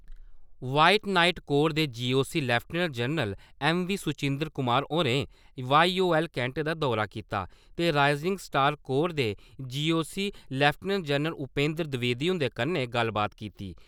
White Knight Corps दे GOC. Lieutenant general A V. Suchindra Kumar होरें Y O L cantt दा दौरा कीता ते राइज़िंग स्टार कोर दे GOC. Lieutenant general Upendra Dwivedi हुंदे कन्नै गल्लबात कीती।